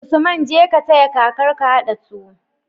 Usman jeka ka taya kakar ka hada tuwo